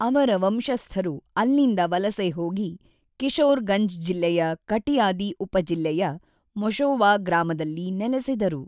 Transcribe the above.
ಅವರ ವಂಶಸ್ಥರು ಅಲ್ಲಿಂದ ವಲಸೆ ಹೋಗಿ ಕಿಶೋರ್‌ಗಂಜ್ ಜಿಲ್ಲೆಯ ಕಟಿಯಾದಿ ಉಪಜಿಲ್ಲೆಯ ಮೊಶೊವಾ ಗ್ರಾಮದಲ್ಲಿ ನೆಲೆಸಿದರು.